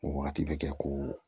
O wagati bɛ kɛ ko